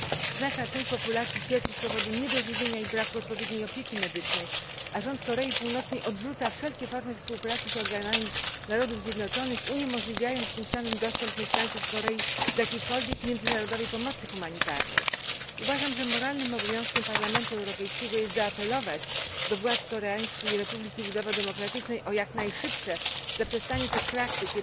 Znaczna część populacji cierpi z powodu niedożywienia i braku odpowiedniej opieki medycznej, a rząd Korei Północnej odrzuca wszelkie formy współpracy z organami Narodów Zjednoczonych, uniemożliwiając tym samym dostęp mieszkańców Korei Północnej do jakiejkolwiek międzynarodowej pomocy humanitarnej. Uważam, że moralnym obowiązkiem Parlamentu Europejskiego jest zaapelować do władz Koreańskiej Republiki Ludowo Demokratycznej o jak najszybsze zaprzestanie tych praktyk.